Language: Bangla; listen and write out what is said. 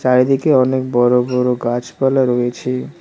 চারিদিকে অনেক বড় বড় গাছপালা রয়েছে।